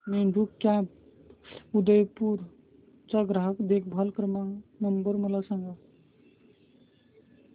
Meru cabs Udaipur चा ग्राहक देखभाल नंबर मला सांगा